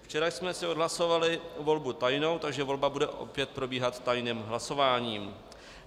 Včera jsme si odhlasovali volbu tajnou, takže volba bude opět probíhat tajným hlasováním.